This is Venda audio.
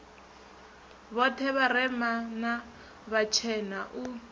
vhoṱhe vharema na vhatshena u